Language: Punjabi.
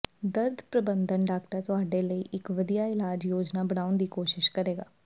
ਦਰਦ ਪ੍ਰਬੰਧਨ ਡਾਕਟਰ ਤੁਹਾਡੇ ਲਈ ਇੱਕ ਵਧੀਆ ਇਲਾਜ ਯੋਜਨਾ ਬਣਾਉਣ ਦੀ ਕੋਸ਼ਿਸ਼ ਕਰੇਗਾ